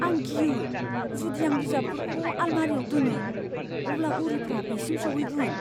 आं गियो जुदिआं बिजाबफोरखौ आलमारिआव दोनो, अब्ला उरिफोरा बेसिम सौहैगोन।